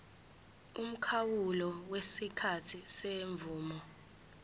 umkhawulo wesikhathi semvume